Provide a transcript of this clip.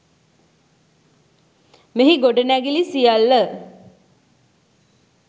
මෙහි ගොඩනැඟිලි සියල්ල